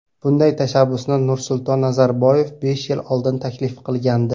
Bunday tashabbusni Nursulton Nazarboyev besh yil oldin taklif qilgandi.